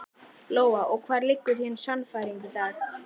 Lóa: Og hvar liggur þín sannfæring í dag?